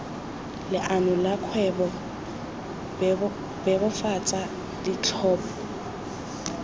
leano la kgwebo bebofatsa ditlhopho